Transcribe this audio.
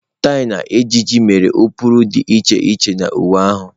Tie na ịjiji mere ụkpụrụ dị iche iche na uwe ahụ.